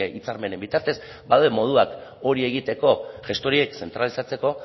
hitzarmenen bitartez badaude moduak hori egiteko gestoriak zentralizatzeko